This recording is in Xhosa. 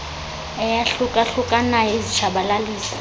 eyahluka hlukanayo izitshabalalisi